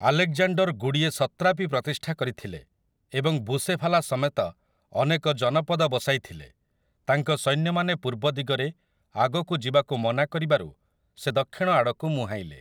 Alexander ଗୁଡ଼ିଏ satrapy ପ୍ରତିଷ୍ଠା କରିଥିଲେ ଏବଂ 'ବୁସେଫାଲା' ସମେତ ଅନେକ ଜନପଦ ବସାଇଥିଲେ, ତାଙ୍କ ସୈନ୍ୟମାନେ ପୂର୍ବ ଦିଗରେ ଆଗକୁ ଯିବାକୁ ମନା କରିବାରୁ ସେ ଦକ୍ଷିଣ ଆଡ଼କୁ ମୁହାଁଇଲେ ।